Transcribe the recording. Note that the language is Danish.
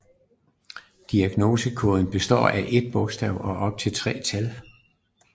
Diagnosekoden består af ét bogstav og op til tre tal